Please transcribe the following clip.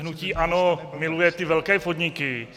Hnutí ANO miluje ty velké podniky.